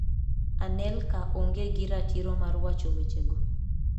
Anelka onge gi ratiro mar wacho wechego".